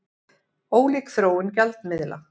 Ólík þróun gjaldmiðla